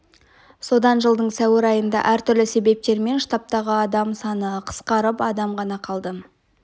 содан жылдың сәуір айында әртүрлі себептермен штабтағы адам саны қысқарып адам ғана қалды